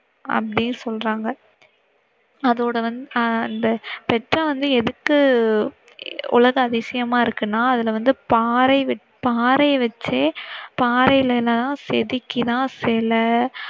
அப்படினு சொல்றாங்க. அதோட வந்து ஆஹ் பெட்ரா வந்து எதுக்கு உலக அதிசயமா இருக்குன்னா அதுல வந்து பாறை வ~பாறை வச்சே பாறைலை எல்லாம் செதுக்கி தான் சிலை